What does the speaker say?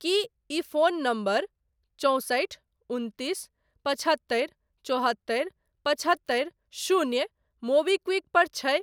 की ई phone number चौंसठि उनतीस पचहत्तरि चौहत्तरि पचहत्तरि शून्य मोबीक्विक पर छै?